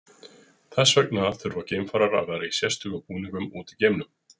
þess vegna þurfa geimfarar að vera í sérstökum búningum úti í geimnum